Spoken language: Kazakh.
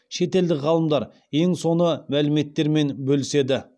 шетелдік ғалымдар ең соны мәліметтермен бөліседі